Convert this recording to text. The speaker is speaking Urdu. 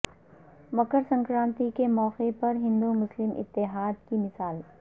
مکر سکرانتی کے موقع پر ہندو مسلم اتحاد کی مثال